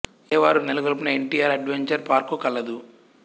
ఎ వారు నెలకొల్పిన N T R adventure park కలదు